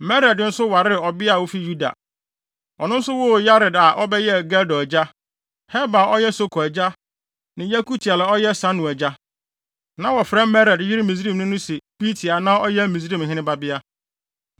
Mered nso waree ɔbea a ofi Yuda. Ɔno nso woo Yered a ɔbɛyɛɛ Gedor agya, Heber a ɔyɛ Soko agya, ne Yekutiel a ɔyɛ Sanoa agya. Na wɔfrɛ Mered yere Misraimni no se Bitia a na ɔyɛ Misraimhene babea.